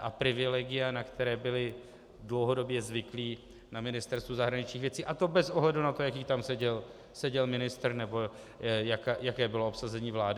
a privilegia, na které byly dlouhodobě zvyklí na Ministerstvu zahraničních věcí, a to bez ohledu na to, jaký tam seděl ministr nebo jaké bylo obsazení vlády.